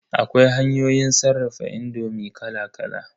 Akwai hanyoyin sarrafa indomi kala kala.